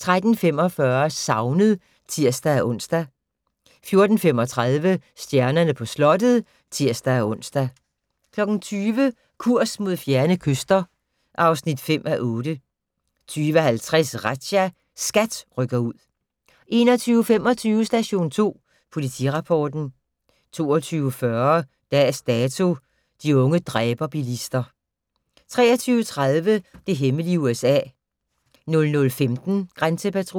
13:45: Savnet (tir-ons) 14:35: Stjernerne på slottet (tir-ons) 20:00: Kurs mod fjerne kyster (5:8) 20:50: Razzia - SKAT rykker ud 21:25: Station 2 Politirapporten 22:40: Dags Dato: De unge dræber-bilister 23:30: Det hemmelige USA 00:15: Grænsepatruljen